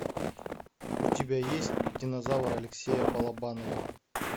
у тебя есть динозавр алексея балабанова